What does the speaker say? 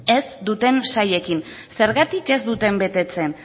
ez duten sailekin zergatik ez dute betetzen